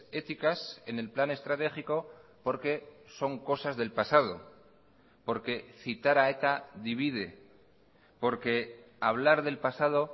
éticas en el plan estratégico porque son cosas del pasado porque citar a eta divide porque hablar del pasado